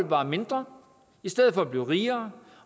bare mindre i stedet for at blive rigere